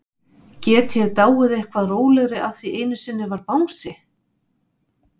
Get ég dáið eitthvað rólegri af því einu sinni var bangsi?